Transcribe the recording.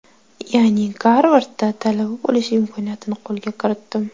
Ya’ni Garvardda talaba bo‘lish imkoniyatini qo‘lga kiritdim.